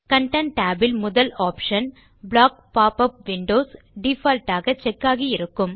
content tab இல் முதல் option block pop up windows default ஆக செக் ஆகியிருக்கும்